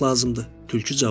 Tülkü cavab verdi.